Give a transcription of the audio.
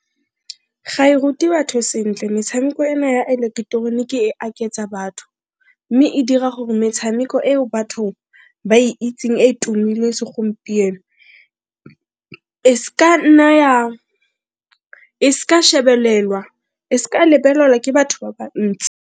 Ga e rute batho sentle metshameko ena ya eleketeroniki e aketsa batho mme e dira gore metshameko eo bathong ba e itseng e e tumileng segompieno e s'ka shebelelwa e s'ka lebelelwa ke batho ba bantsi.